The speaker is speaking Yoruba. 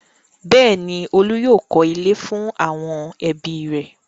bẹ́ẹ̀ni, Olú yóò kọ́ ilé fún àwọn ẹbí rẹ̀.